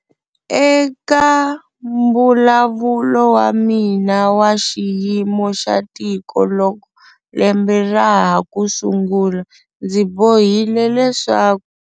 Eka Mbulavulo wa mina wa Xiyimo xa Tiko loko lembe ra ha ku sungula ndzi bohile leswaku.